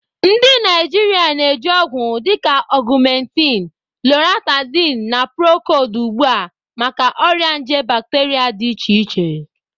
Ndị Naijiria na-eji ọgwụ dịka Ogumentinu, Loratadini, na Procodi ugbu a maka ọrịa nje bacteria dị iche iche